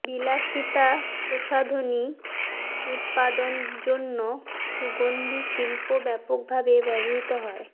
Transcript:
বিলাসিতা প্রসাধনী উত্পাদন জন্য সুগন্ধি শিল্প ব্যাপকভাবে ব্যবহৃত হয়